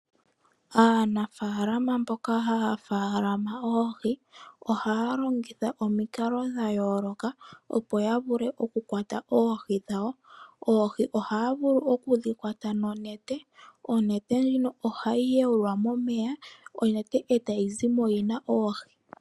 Aanafaalama mboka haya munu oohi ohaya longitha omikalo dha yooloka . Opo ya vule oku kwata oohi dhawo. Oohi ohaya vulu oku dhi kwata nonete. Onete ndjino ohayi yawulwa momeya etayi zimo yina oohi.